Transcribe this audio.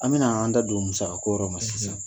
An bɛna an da don musaka ko yɔrɔ ma sisan.